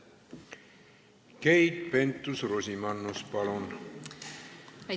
Keit Pentus-Rosimannus, palun!